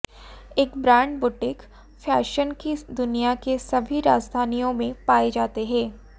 एक brand boutique fashion की दुनिया के सभी राजधानियों में पाए जाते हैं